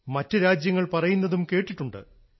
മറ്റു രാജ്യങ്ങൾ പറയുന്നതും കേട്ടിട്ടുണ്ട്